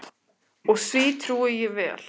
Og því trúi ég vel.